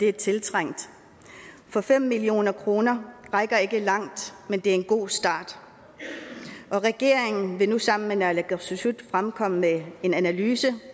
er tiltrængt for fem million kroner rækker ikke langt men det er en god start regeringen vil nu sammen med naalakkersuisut fremkomme med en analyse